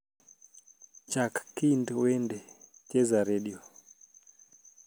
chak kind wende cheza redio